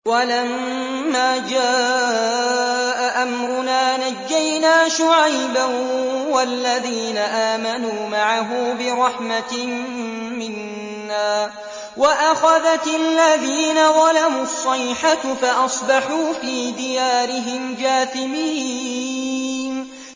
وَلَمَّا جَاءَ أَمْرُنَا نَجَّيْنَا شُعَيْبًا وَالَّذِينَ آمَنُوا مَعَهُ بِرَحْمَةٍ مِّنَّا وَأَخَذَتِ الَّذِينَ ظَلَمُوا الصَّيْحَةُ فَأَصْبَحُوا فِي دِيَارِهِمْ جَاثِمِينَ